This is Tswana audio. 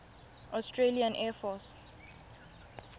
australian air force